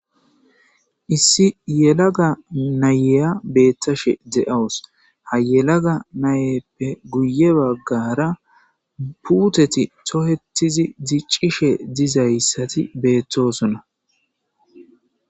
issi yelaga nayeya beettashe de7awus ha yelaga nayeppe guye baggara puuteti tohetizi diccishe dizayssati beettoosuna